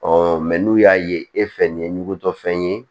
mɛ n'u y'a ye e fɛ nin ye ɲugutɔfɛn ye